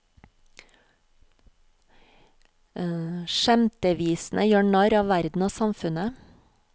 Skjemtevisene gjør narr av verden og samfunnet.